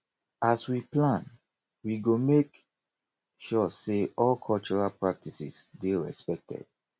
as we plan we go make sure say all cultural practices dey respected